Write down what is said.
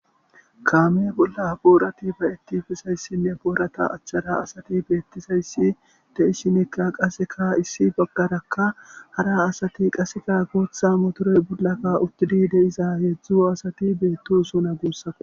Kaame bollan boorati be'etizaysane boora achara asati beetizaysi de'ishini kaseka ha issi bagaraka hara asati kaseka guutha motore bollanka uthidi de'iza heezu asati beetosona gusako.